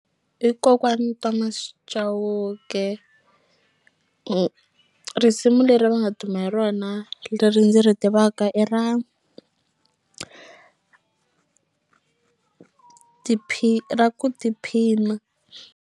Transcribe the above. I kokwani Thomas Chauke risimu leri va nga duma hi rona leri ndzi ri tivaka i ra i ra ku tiphina.